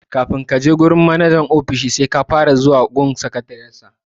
Kafin a je wurin manajan ofishi sai an fara bi ta sakatariyar sa.